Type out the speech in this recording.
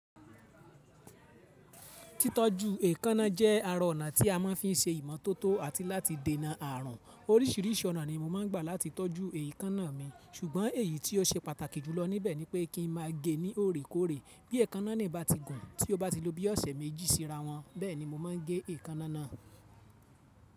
Tí tọ́jú èékánná jẹ́ ará ọ̀nà tí a máa ń fi ṣe ìmọ́tótó àti láti dènà ààrùn. Oríṣiríṣi ọ̀nà ni mo máa n gbà láti tọ́jú èékánná mi, ṣùgbọ́n èyí tí ó se pàtàkì jùlọ níbẹ̀ ni pé kí n máa gée ní òòré kóòrè. Bí èékánná nì bá ti gùn tí ó bá ti ló bí ọ̀sẹ̀ méjì sí ra wọ́n, bẹ́ẹ̀ni mo máa n gé èékánná náà.